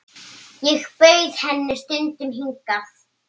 Ég bauð henni stundum hingað.